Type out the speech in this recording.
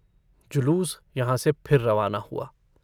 जुलूस यहाँ से फिर रवाना हुआ।